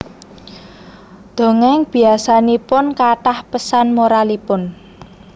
Dongéng biasanipun kathah pesan moralipun